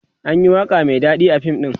anyi waƙa Mai daɗi a fim ɗin